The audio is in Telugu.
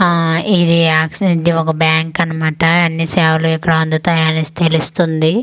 ఆ ఇది ఆక్చువల్లి ఒక బ్యాంక్ అన్నమాట అన్నీ సేవలు ఇక్కడ అందుతాయి అని తెలుస్తుంది.